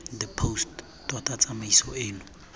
the post tota tsamaiso eno